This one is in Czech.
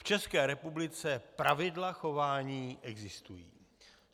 V České republice pravidla chování existují.